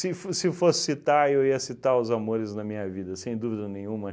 fo se fosse citar, eu ia citar Os Amores na Minha Vida, sem dúvida nenhuma.